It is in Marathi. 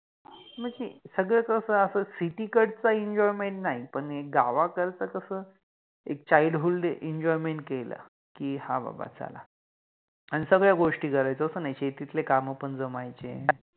मंजे सगळ कस अस सिटि कडचा Enjoyment नाहि पण गावाकडच कस एक ChildhoodEnjoyment केल कि हा बाबा चला अन सगळ्या गोष्टी करायचो, अस नाइ, शेतितले काम पण जमायचे